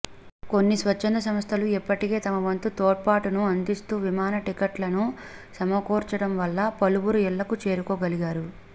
కొన్ని స్వచ్ఛంద సంస్థలు ఇప్పటికే తమవంతు తోడ్పాటును అందిస్తూ విమాన టిక్కెట్లను సమకూర్చడం వల్ల పలువురు ఇళ్లకు చేరుకోగలిగారు